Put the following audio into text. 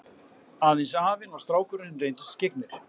Aðeins afinn og strákurinn reyndust skyggnir.